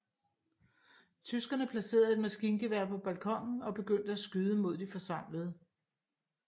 Tyskerne placerede et maskingevær på balkonen og begyndte at skyde mod de forsamlede